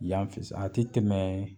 Yanfɛ san a tɛ tɛmɛɛ